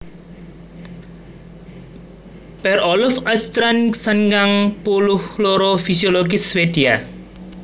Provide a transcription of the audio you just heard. Per Olof Åstrand sangang puluh loro fisiologis Swédia